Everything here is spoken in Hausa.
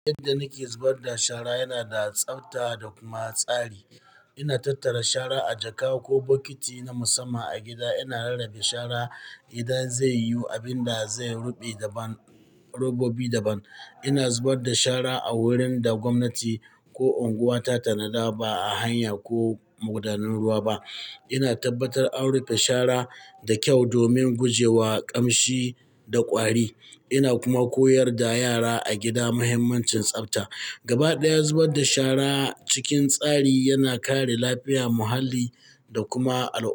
Yadda nake zubar da shara yana da tsafta da kuma tsari. Ina tattara shara a jaka ko bokiti na musamman a gida. Ina rarrabe shara idan zai yi abin da zai ruɓe daban, robobi daban. Ina zubar da shara a wurin da gwamnati ko unguwa ta tanada, ba a hanya ko magudanun ruwa ba. Ina tabbatar an rufe shara da kyau domin guje wa ƙamshi da ƙwari. Ina kuma koyar da yara a gida mahimmancin tsafta. Gabaɗaya, zubar da shara cikin tsari yana kare lafiyar muhalli da kuma al'umma.